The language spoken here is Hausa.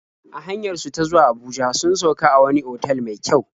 A hanyar su ta zuwa Abuja sun sauk a wani otal mai kyau.